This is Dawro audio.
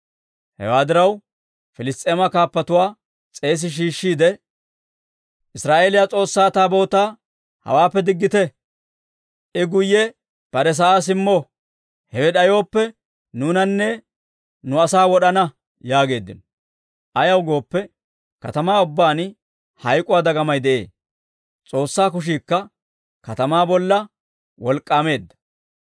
Hewaa diraw, Piliss's'eema kaappatuwaa s'eesi shiishshiide, «Israa'eeliyaa S'oossaa Taabootaa hawaappe diggite; I guyye bare sa'aa simmo; hewe d'ayooppe, nuunanne nu asaa wod'ana» yaageeddino. Ayaw gooppe, katamaa ubbaan hayk'k'uwaa dagamay de'ee; S'oossaa kushiikka katamaa bolla wolk'k'aameedda.